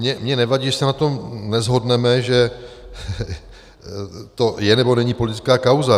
Mně nevadí, že se na tom neshodneme, že to je, nebo není politická kauza.